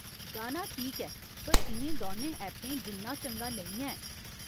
गाना ठीक ऐ, पर इ'नें दौनें ऐपें जिन्ना चंगा नेईं ऐ।